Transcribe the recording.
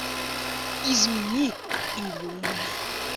измени или умри